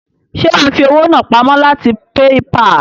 Ṣe wàá fi owó náà pamó láti PayPal?